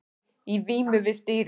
Í vímu við stýrið